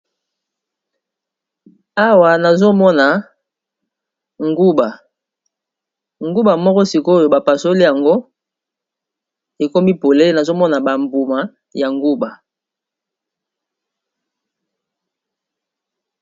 awa nazomona nguba nguba moko sikoyo bapasoli yango ekomi pole nazomona bambuma ya nguba